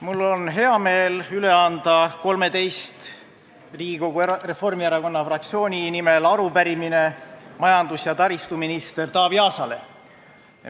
Mul on hea meel anda 13 Riigikogu Reformierakonna fraktsiooni liikme nimel arupärimine majandus- ja taristuminister Taavi Aasale.